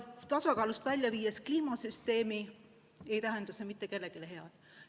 Tasakaalust välja viidud kliimasüsteem ei tähenda mitte kellelegi head.